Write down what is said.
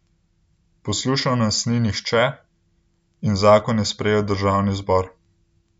Poslušal nas ni nihče in zakon je sprejel državni zbor.